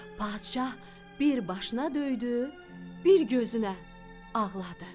Padşah bir başına döydü, bir gözünə ağladı.